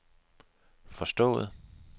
forstået